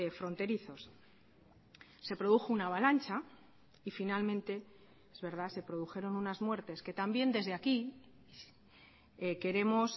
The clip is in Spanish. fronterizos se produjo una avalancha y finalmente es verdad se produjeron unas muertes que también desde aquí queremos